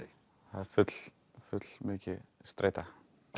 það er fullmikil streita